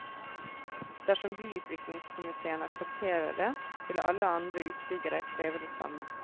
Dersom byutviklingskomitéen aksepterer det, vil alle andre utbyggere kreve det samme.